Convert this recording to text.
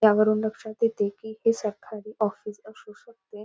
त्यावरून लक्षात येते कि हे सरकारी ऑफिस असू शकते.